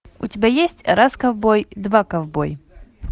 у тебя есть раз ковбой два ковбой